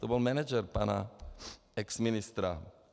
To byl manažer pana exministra.